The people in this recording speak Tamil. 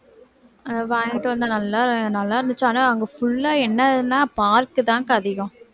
வாங்கிட்டு வந்தேன் நல்லா நல்லாருந்துச்சு ஆனா அங்க full ஆ என்னதுன்ன park தான்க்கா அதிகம்